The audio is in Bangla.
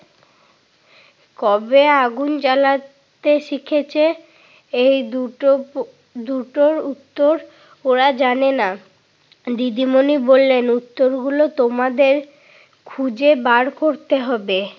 কবে আগুন জ্বালাতে শিখেছে? এই দুটো দুটোর উত্তর ওরা জানে না। দিদিমণি বললেন উত্তরগুলো তোমাদের খুঁজে বার করতে হবে।